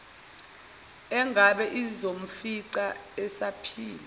engabe izomfica esaphila